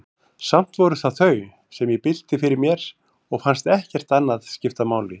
Samt voru það þau, sem ég bylti fyrir mér, og fannst ekkert annað skipta máli.